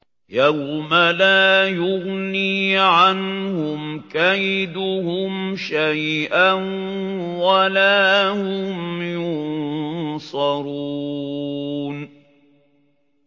يَوْمَ لَا يُغْنِي عَنْهُمْ كَيْدُهُمْ شَيْئًا وَلَا هُمْ يُنصَرُونَ